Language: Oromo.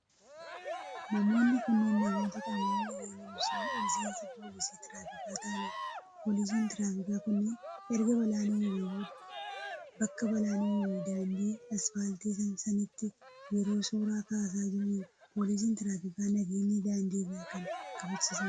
Namoonni kunneen, namoota qaamolee nageenyaa miseensa poolisii tiraafikaa ta'anidha. Poolisiin tiraafikaa kunneen, erga balaan uumamee booda bakka balaan uumame daandii asfaaltii sanitti yeroo suura kaasaa jiranidha. Poolisiin tiraafikaa nageenya daandii irraa kan kabachiisanidha.